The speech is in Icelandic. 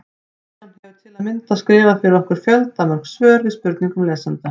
Kristján hefur til að mynda skrifað fyrir okkur fjöldamörg svör við spurningum lesenda.